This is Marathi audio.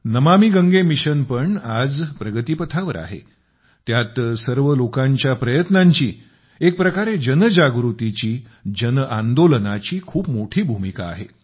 नमामि गंगे मिशन पण आज प्रगती पथावर आहे त्यात सर्व लोकांच्या प्रयत्नांची एक प्रकारे जनजागृतीची जनआंदोलनाची खूप मोठी भूमिका आहे